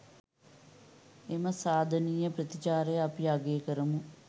එම සාධනීය ප්‍රතිචාරය අපි අගය කරමු.